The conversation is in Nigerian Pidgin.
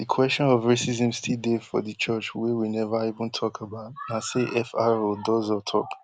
di kwesion of racism still dey for di church wey we neva even tok about na say fr odozor tok